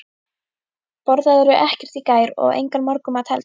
Borðaðirðu ekkert í gær og engan morgunmat heldur?